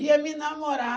Ia me namorar.